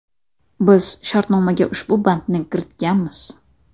Biz shartnomaga ushbu bandni kiritganmiz.